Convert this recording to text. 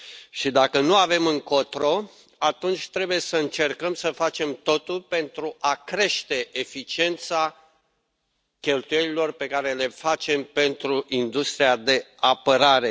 Și, dacă nu avem încotro, atunci trebuie să încercăm să facem totul pentru a crește eficiența cheltuielilor pe care le facem pentru industria de apărare.